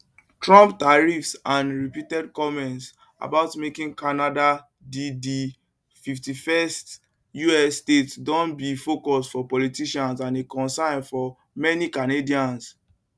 trump tariffs and repeated comments about making canada di di 51st us state don be focus for politicians and a concern for many canadians